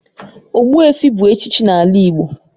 Ogbuefi bu echichi n'ala Igbo